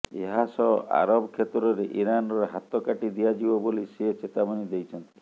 ଏହାସହ ଆରବ କ୍ଷେତ୍ରରେ ଇରାନର ହାତ କାଟି ଦିଆଯିବ ବୋଲି ସେ ଚେତାବନୀ ଦେଇଛନ୍ତି